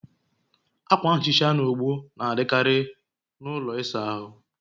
Akwa nhicha na ogbo na-adịkarị na ụlọ ịsa ahụ